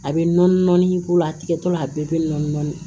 A bɛ nɔɔni nɔni k'o la tigɛtɔla a bɛɛ bɛ nɔɔni nɔni